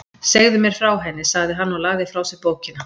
Segðu mér frá henni, sagði hann og lagði frá sér bókina.